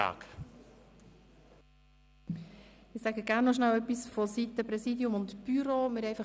Ich sage gern noch etwas aus der Sicht des Präsidiums und des Büros des Grossen Rats.